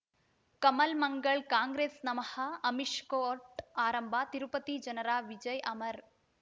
ಕಮಲ್ ಮಂಗಳ್ ಕಾಂಗ್ರೆಸ್ ನಮಃ ಅಮಿಷ್ ಕೋರ್ಟ್ ಆರಂಭ ತಿರುಪತಿ ಜನರ ವಿಜಯ ಅಮರ್